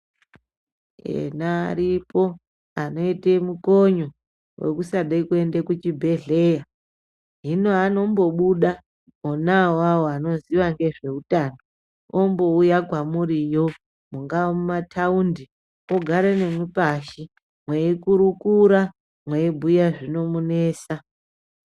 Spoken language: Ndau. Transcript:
Ena aripo anoite mukonyo wekusade kuenda kuchibhehlera hino anombobuda ona awawo anoziya ngezve utano ombouya kwamuri yo mungaa mumataundi ogara nemwipashi mweikurukura mweibhuya zvinomunesa.